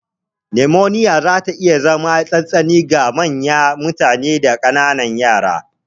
Numoniya zata iya zama me tsanini ga manyan mutane da ƙananan yara.